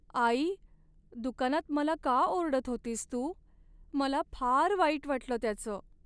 आई! दुकानात मला का ओरडत होतीस तू, मला फार वाईट वाटलं त्याचं.